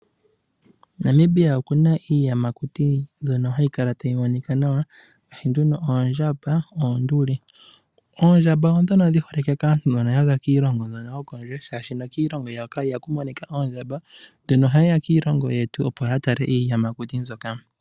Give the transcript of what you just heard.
Namibia oku na iiyamakuti mbyono hayi kala tayi monika nawa ngaashi; oondjamba, nosho wo oonduli. Oondjamba odho ndhono dhi holike kaantu mbono ya za kiilingo mbyoka yokondje, oshoka kiilingo yawo iha ku monika oondjamba. Ohaye ya kiilingo yetu opo ya tale iiyamakuti mbyoka.